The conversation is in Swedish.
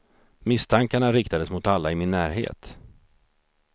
Misstankarna riktades mot alla i min närhet.